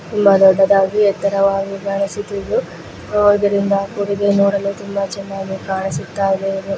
ತುಂಬಾ ದೊಡ್ಡದಾಗಿ ಎತ್ತರವಾಗಿ ಕಾಣಿಸುತ್ತಿದ್ದು ಅವದರಿಂದ ನೋಡಲು ತುಂಬಾ ಚೆನ್ನಾಗಿ ಕಾಣಿಸುತ್ತಾಯಿದೆ ಇದು .